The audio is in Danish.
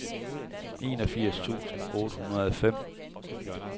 enogfirs tusind otte hundrede og fem